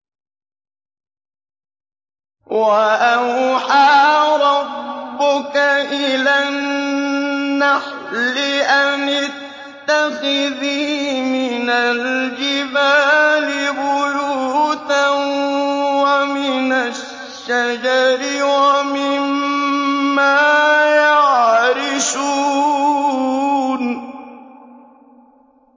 وَأَوْحَىٰ رَبُّكَ إِلَى النَّحْلِ أَنِ اتَّخِذِي مِنَ الْجِبَالِ بُيُوتًا وَمِنَ الشَّجَرِ وَمِمَّا يَعْرِشُونَ